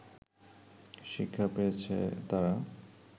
শিক্ষা পেয়েছে তারা